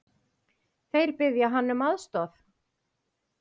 Þeir biðja hann um aðstoð.